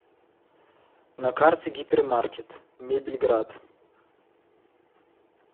на карте гипермаркет мебельград